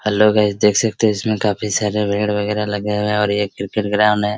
Hello guys देख सकते हैं इसमें काफी सारे विकेट वगैरा लगे हुए है और ये क्रिकेट ग्राउंड है।